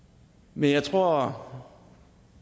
men jeg tror